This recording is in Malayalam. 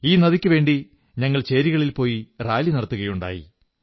ഈ നദിക്കുവേണ്ടി ഞങ്ങൾ ചേരികളിൽ പോയി റാലി നടത്തുകയുണ്ടായി